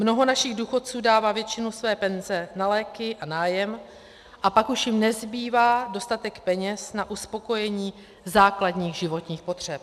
Mnoho našich důchodců dává většinu své penze na léky a nájem a pak už jim nezbývá dostatek peněz na uspokojení základních životních potřeb.